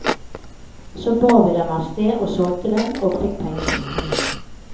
Så bar vi dem avsted og solgte dem, og fikk pengene.